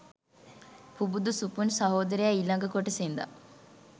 පුබුදු සුපුන් සහෝදරයා ඊලඟ කොටසෙ ඉදන්